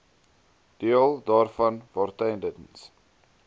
deel daarvan waartydens